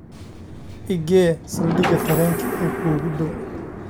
i gee saldhigga tareenka ee kuugu dhow